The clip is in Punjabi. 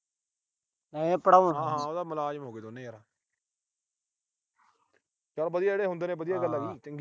ਇਹ ਤਾਂ ਮੁਲਾਜਮ ਹੋ ਗਏ ਦੋਨੇਂ ਯਾਰ। ਚਲ ਜਿਹੜੇ ਹੁੰਦੇ ਨੇ ਵਧੀਆ ਗੱਲ ਆ ਜੀ